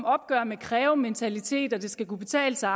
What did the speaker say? opgør med krævementaliteten det skal kunne betale sig